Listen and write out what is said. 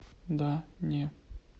да не